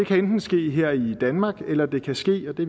kan enten ske her i danmark eller det kan ske og det